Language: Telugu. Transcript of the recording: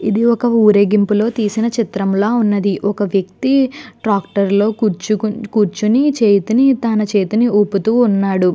ఇది ఒక ఊరేగింపులో తీసిన చిత్రంలా ఉన్నది. ఒక వ్యక్తి ట్రాక్టర్ లో కూర్చు కూర్చుని చేతిని తన చేతిని ఊపుతూ ఉన్నాడు.